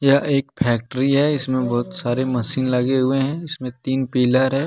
यह एक फैक्ट्री है इसमें बहुत सारे मशीन लगे हुए हैं इसमें तीन पिलर है ।